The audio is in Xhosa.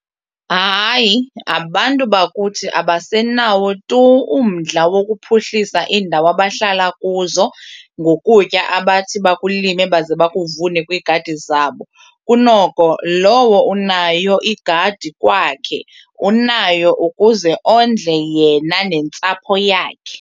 Hayi, abantu bakuthi abasenawo tu umdla wokuphuhlisa iindawo abahlala kuzo ngokutya abathi bakulime baze bakuvune kwiigadi zabo. Kunoko lowo unayo igadi kwakhe unayo ukuze ondle yena nentsapho yakhe.